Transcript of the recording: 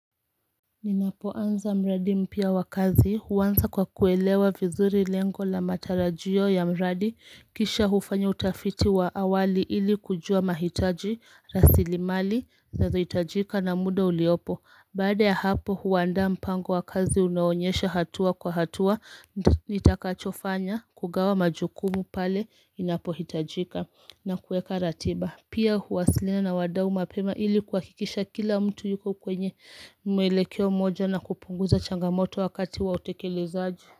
Ninapoanza mradi mpya wa kazi huanza kwa kuelewa vizuri lengo la matarajio ya mradi kisha hufanya utafiti wa awali ili kujua mahitaji rasilimali nazo hitajika na muda uliopo Baada ya hapo huandaa mpango wa kazi unaonyesha hatua kwa hatua nitakachofanya kugawa majukumu pale inapo hitajika na kueka ratiba Pia huasiliana na wadau mapema ili kuhakikisha kila mtu yuko kwenye mwelekeo moja na kupunguza changamoto wakati wa utekelezaji.